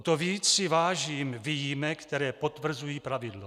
O to víc si vážím výjimek, které potvrzují pravidlo.